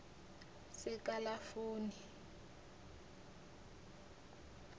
sekalafoni